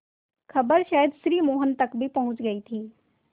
खबर शायद श्री मोहन तक भी पहुँच गई थी